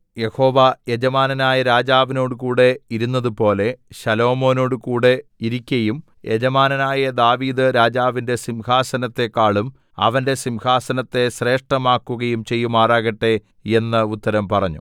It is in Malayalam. യഹോവ യജമാനനായ രാജാവിനോടുകൂടെ ഇരുന്നതുപോലെ ശലോമോനോടുംകൂടെ ഇരിക്കയും യജമാനനായ ദാവീദ്‌ രാജാവിന്റെ സിംഹാസനത്തെക്കാളും അവന്റെ സിംഹാസനത്തെ ശ്രേഷ്ഠമാക്കുകയും ചെയ്യുമാറാകട്ടെ എന്ന് ഉത്തരം പറഞ്ഞു